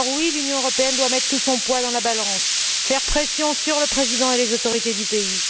L'Union européenne doit mettre tout son poids dans la balance et faire pression sur le président et les autorités du pays.